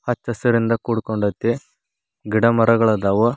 ಹಚ್ಚಸಿರಿನಿಂದ ಕುಡ್ಕೊಂದೈತಿ ಗಿಡಮರಗಳು ಅದಾವು.